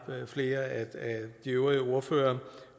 flere af de øvrige ordførere